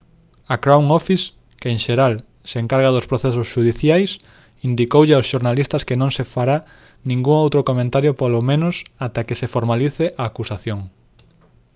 a crown office que en xeral se encarga dos procesos xudiciais indicoulle aos xornalistas que no se fará ningún outro comentario polo menos ata que se formalice a acusación